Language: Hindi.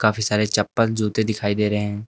काफी सारे चप्पल जूते दिखाई दे रहे हैं।